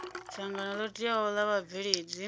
dzangano ḽo teaho ḽa vhabveledzi